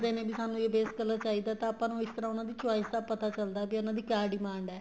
ਦੱਸਦੇ ਨੇ ਵੀ ਸਾਨੂੰ ਇਹ base color ਚਾਹੀਦਾ ਏ ਤਾਂ ਆਪਾਂ ਇਸ ਤਰ੍ਹਾਂ ਉਹਨਾ ਦੀ choice ਦਾ ਪਤਾ ਚੱਲਦਾ ਹੈ ਵੀ ਉਹਨਾ ਦੀ ਕਿਆ demand ਏ